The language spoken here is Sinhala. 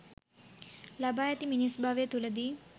ලබා ඇති මිනිස් භවය තුළදී